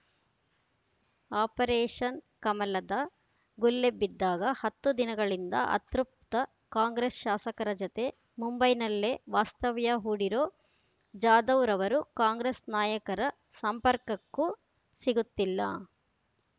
operation ಕಮಲದ ಗುಲ್ಲೆಬ್ಬಿದ್ದಾಗ ಹತ್ತು ದಿನಗಳಿಂದ ಅತೃಪ್ತ ಕಾಂಗ್ರೆಸ್‌ ಶಾಸಕರ ಜೊತೆ ಮುಂಬೈನಲ್ಲೇ ವಾಸ್ತವ್ಯ ಹೂಡಿರೋ ಜಾಧವ್‌ರವರು ಕಾಂಗ್ರೆಸ್‌ ನಾಯಕರ ಸಂಪರ್ಕಕ್ಕೂ ಸಿಗುತ್ತಿಲ್ಲ